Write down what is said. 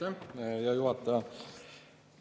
Aitäh, hea juhataja!